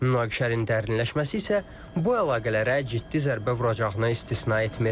Münaqişənin dərinləşməsi isə bu əlaqələrə ciddi zərbə vuracağını istisna etmir.